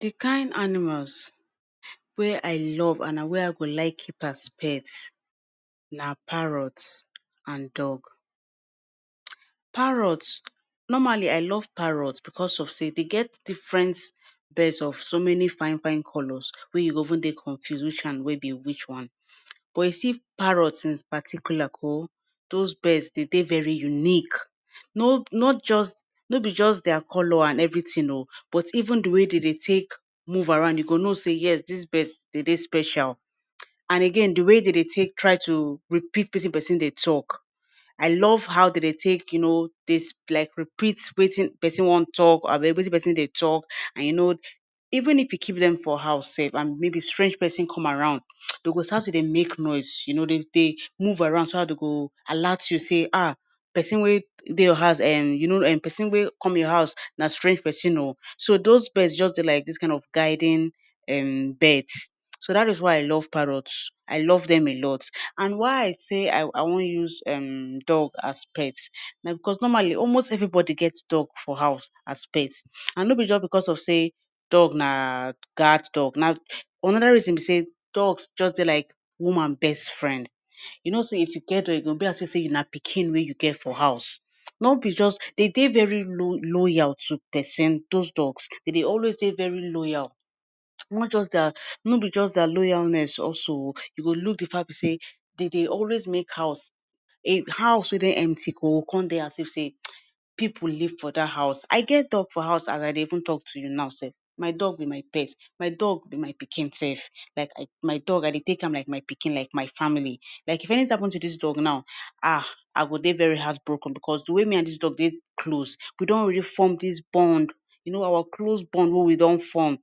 Dikind animals wey I love and na wey I go like keep as pets, na parrots and dog. Parrots, normally I love parrots bicos of sey dey get diffren birds of so many fine, fine colors. Wey you go even de confuse which one wey be which one. But you see, parrots in particular, ko? Those birds, dey de very unique. no not just- no be just their color and evri tin, oh, but even di way dey de take move around, you go know, say, Yes, dis birds, dey dey special. And again, di way dey dey take try to repeat, wetin pesin dey talk. I love how de dey take, you know dey like repeats wetin pesin wan talk wetin pesin dey talk and, you know, even if you keep them for house sef and maybe strange pesin come around, dey go start to dey make noise. You know, dey, dey move around so dat dey go alert you say, "Ah, pesin wey de your house um you know pesin wey come your house, na strange pesin, oh. So those birds just de like dis kind of guiding, um, birds. So dat is why I love parrots. I love dem a lot. And why I say I I wan use, um, dog as pets? Na bicos normally almost evribody gets dog for house as pets. And nobi just bicos of say dog na guard dog. Na another reason be say dogs just de like woman best friend. You know say if you get dog e go be as if say na pikin wey you get for house. No be just, dey de very lo loyal to pesin. Those dogs, dey dey always dey very loyal. not just dat no be just dia loyalness also. You go look di fact say, dey dey always make house, house wey dey empty ko come de as if say, People live for dat house. I get dog for house as I de even talk to you na sef. My dog be my pet. My dog be my pikin sef. Like, my dog, I de take am like my pikin, like my family. Like if anything happun to dis dog na,[um], I go de very heartbroken bicos di way me and dis dog de close, we don already form dis bond. You know our close bond wey we don form,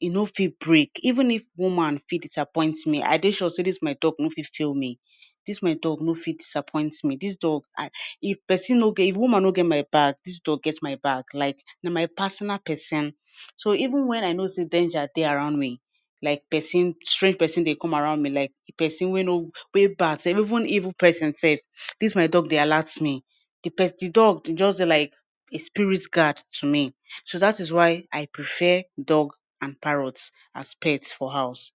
e no fit break. Even if woman fit disappoint me, I dey sure say dis my dog no fit fail me. Dis my dog no fi disappoint me. Dis dog, if pesin no get- if woman no get my back, dis dog get my back. Like, na my personal pesin. So even when I know say danger dey around me, like pesin- strange pesin dey come around me, like pesin wey no wey bad sef, Even evil pesin sef, dis my dog dey alerts me. Di dog just de like a spirit guard to me. So dat is why I prefer dog and parrots as pets for house.